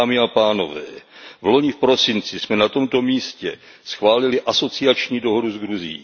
Dámy a pánové, vloni v prosinci jsme na tomto místě schválili asociační dohodu s Gruzií.